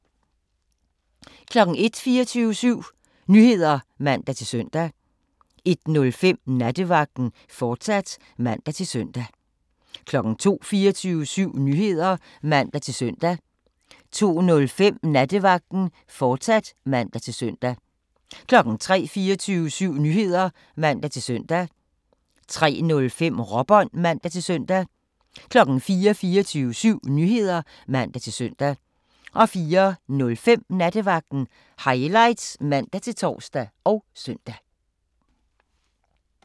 01:00: 24syv Nyheder (man-søn) 01:05: Nattevagten, fortsat (man-søn) 02:00: 24syv Nyheder (man-søn) 02:05: Nattevagten, fortsat (man-søn) 03:00: 24syv Nyheder (man-søn) 03:05: Råbånd (man-søn) 04:00: 24syv Nyheder (man-søn) 04:05: Nattevagten Highlights (man-tor og søn)